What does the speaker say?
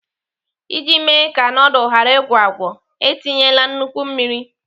Iji mee ka nudul ghara ịgwọ agwọ, etinyela nnukwu mmiri.